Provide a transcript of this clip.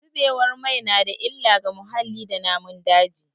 Zubewar mai na da illa ga muhalli da namun daji.